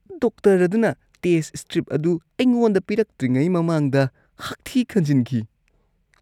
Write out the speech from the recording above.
Doctor ꯑꯗꯨꯅ test strip ꯑꯗꯨ ꯑꯩꯉꯣꯟꯗ ꯄꯤꯔꯛꯇ꯭ꯔꯤꯉꯩ ꯃꯃꯥꯡꯗ ꯍꯥꯛꯊꯤ ꯈꯟꯖꯤꯟꯈꯤ꯫